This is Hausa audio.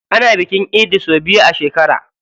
Ana bikin idi sau biyu a shekara.